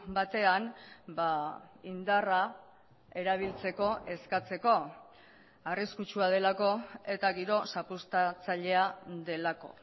batean indarra erabiltzeko eskatzeko arriskutsua delako eta giro zapuztatzailea delako